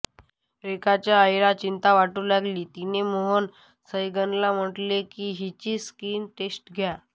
रेखाच्या आईला चिंता वाटू लागली तिने मोहन सैगलना म्हठले की हिची स्क्रीन टेस्ट घ्या